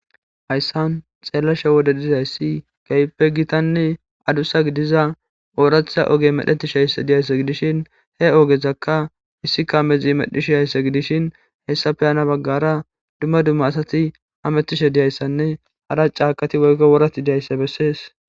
Hayssan xeellashe wode dizayssi geyppe gitanni adussa gidiza ooratha oge medhetish haysse diyaysse gidishin he ogezakka issi kaamezi medhishi haysse gidishin hayssa peyana baggara dumma dumma asati hamettishe diyayssanne hara caakati woykko worati diyayssa bessees.